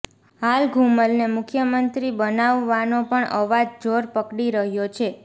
હાલ ઘૂમલને મુખ્યમંત્રી બનાવવાનો પણ અવાજ જોર પકડી રહ્યો છે